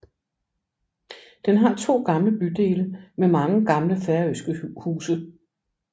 Den har to gamle bydele med mange gamle færøske huse